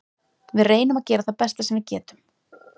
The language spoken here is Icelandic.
Við reynum að gera það besta sem við getum.